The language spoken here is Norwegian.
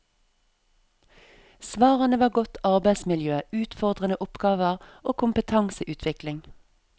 Svarene var godt arbeidsmiljø, utfordrende oppgaver og kompetanseutvikling.